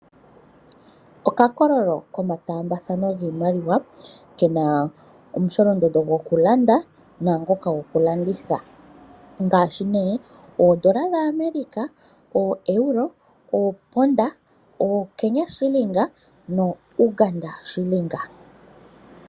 Okakololo komataambathano giimaliwa kena omusholondondo gokulanda naangoka gokulanditha. Ngaashi nee oondola dha America, ooEuro, ooPound, ooKenya Shilling nooUganda Shilling.